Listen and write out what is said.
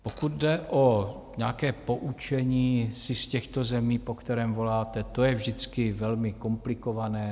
Pokud jde o nějaké poučení se z těchto zemí, po kterém voláte, to je vždycky velmi komplikované.